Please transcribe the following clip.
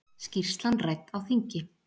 Skýrslan rædd á þingi